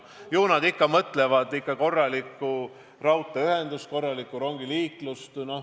Ju nad mõtlevad ikka korraliku raudteeühenduse loomist, korralikku rongiliiklust.